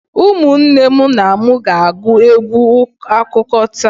Ụmụnne na m ga-agụ egwu akụkọ taa.